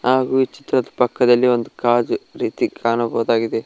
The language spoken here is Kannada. ಹಾಗು ಈ ಚಿತ್ರದ ಪಕ್ಕದಲ್ಲಿ ಒಂದು ಕಾಜು ರೀತಿ ಕಾಣಬಹುದಾಗಿದೆ.